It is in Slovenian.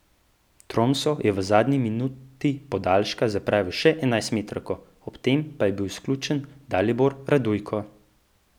Tromso je v zadnji minuti podaljška zapravil še enajstmetrovko, ob tem pa je bil izključen Dalibor Radujko.